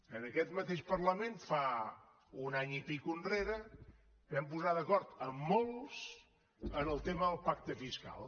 en aquest mateix parlament un any enrere i escaig ens vam posar d’acord amb molts en el tema del pacte fiscal